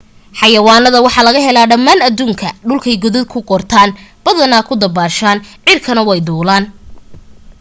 xayawaanada waxa laga helaa dhammaan adduunka dhulkay godad ku qortaan badaha ku dabbaashaan cirkana way duulaan